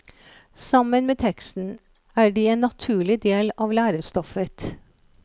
Sammen med teksten er de en naturlig del av lærestoffet.